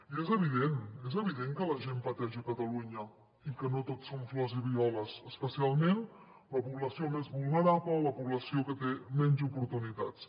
i és evident és evident que la gent pateix a catalunya i que no tot són flors i violes especialment la població més vulnerable la població que té menys oportunitats